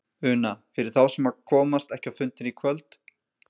Una: Fyrir þá sem að komast ekki á fundinn í kvöld?